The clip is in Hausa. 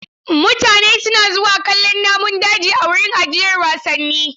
Mutane suna zuwa kallon namun daji a wurin ajiyar wasannin.